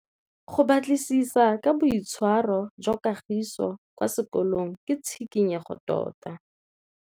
Go batlisisa ka boitshwaro jwa Kagiso kwa sekolong ke tshikinyêgô tota.